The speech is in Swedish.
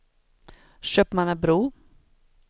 Köpmannebro